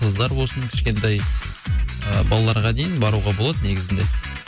қыздар болсын кішкентай балаларға дейін баруға болады негізінде